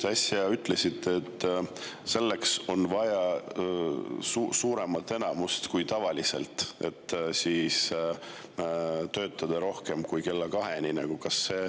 Te äsja ütlesite, et selleks on vaja suuremat enamust kui tavaliselt, et töötada kauem kui kella kaheni.